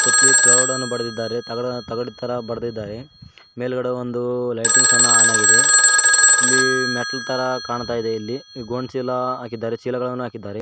ಸುಟ್ಲಿ proud ಅನ್ನ ಬರ್ದಿದ್ದಾರೆ ತಗಡನ್ನ ತಗಡ್ತರ ಬರ್ದಿದ್ದಾರೆ ಮೇಲ್ಗಡೆ ಒಂದು ಲೈಟಿಂಗ್ಸ್ ಅನ್ನ ಆನ್ ಆಗಿದೆ ಇಲ್ಲಿ ಮೆಟ್ಲು ತರ ಕಾಣ್ತಾ ಇದೆ ಇಲ್ಲಿ ಗೋಣಿಚೀಲ ಹಾಕಿದ್ದಾರೆ ಚೀಲಗಳನ್ನು ಹಾಕಿದ್ದಾರೆ.